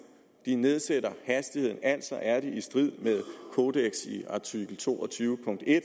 de nedsætter hastigheden altså er de i strid med kodekset i artikel to og tyve punkt en